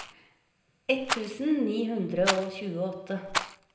ett tusen ni hundre og tjueåtte